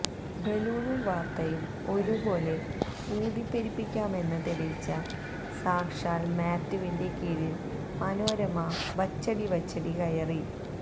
ബലൂണും വാര്ത്തയും ഒരുപോലെ ഊതിപ്പെരുപ്പിക്കാമെന്ന് തെളിയിച്ച സാക്ഷാല് മാത്യുവിന്റെ കീഴില് മനോരമ വച്ചടിവച്ചടി കയറി